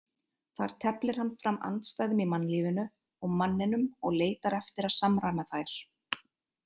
Þar teflir hann fram andstæðum í mannlífinu og manninum og leitar eftir að samræma þær.